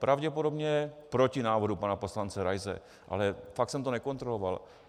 Pravděpodobně proti návrhu pana poslance Raise, ale fakt jsem to nekontroloval.